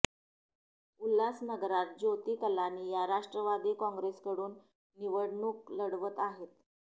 उल्हासनगरात ज्योती कलानी या राष्ट्रवादी कॉंग्रेसकडून निवडणूक लढवत आहेत